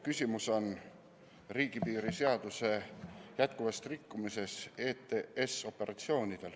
Küsimus on riigipiiri seaduse jätkuvas rikkumises STS-operatsioonidel.